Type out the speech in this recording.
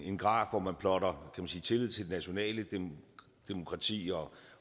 en graf hvor man plotter tillid til det nationale demokrati og